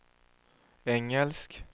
engelsk